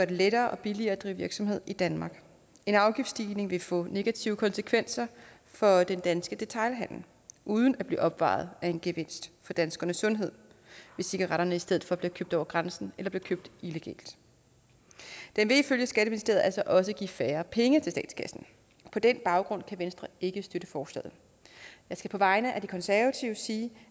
det lettere og billigere at drive virksomhed i danmark en afgiftsstigning vil få negative konsekvenser for den danske detailhandel uden at blive opvejet af en gevinst for danskernes sundhed hvis cigaretterne i stedet for bliver købt over grænsen eller bliver købt illegalt det vil ifølge skatteministeriet altså også give færre penge til statskassen på den baggrund kan venstre ikke støtte forslaget jeg skal på vegne af de konservative sige